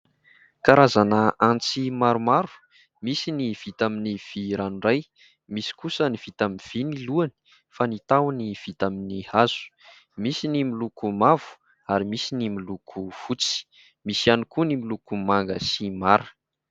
Karazana antsy maromaro : misy ny vita amin'ny vy ranoray, misy kosa ny vita amin'ny vy ny lohany fa ny tahony vita amin'ny hazo, misy ny miloko mavo ary misy ny miloko fotsy, misy ihany koa ny miloko manga sy mara.